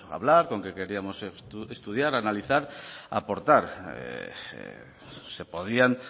hablar con que queríamos estudiar analizar aportar se podían